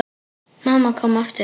Mamma kom aftur.